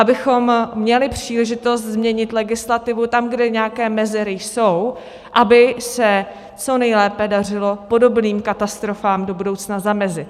Abychom měli příležitost změnit legislativu tam, kde nějaké mezery jsou, aby se co nejlépe dařilo podobným katastrofám do budoucna zamezit.